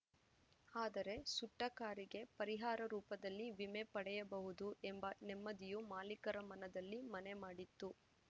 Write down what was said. ಆದರೆ ಸುಟ್ಟಕಾರಿಗೆ ಪರಿಹಾರ ರೂಪದಲ್ಲಿ ವಿಮೆ ಪಡೆಯಬಹುದು ಎಂಬ ನೆಮ್ಮದಿಯು ಮಾಲಿಕರ ಮನದಲ್ಲಿ ಮನೆ ಮಾಡಿತ್ತು